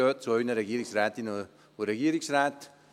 Gehen Sie zu Ihren Regierungsrätinnen und Regierungsräten;